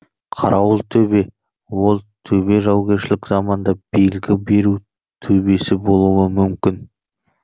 қарауылтөбе ол төбе жаугершілік заманда белгі беру төбесі болуы мүмкін